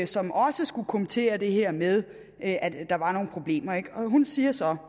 som også skulle kommentere det her med at der var nogle problemer hun siger så